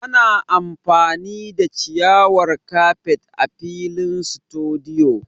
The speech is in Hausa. Ana amfani da ciyawar kafet a filin situdiyu